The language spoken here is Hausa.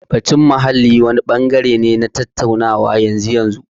Batun muhalli wani bangare ne na tattaunawa na yanzu. yanzu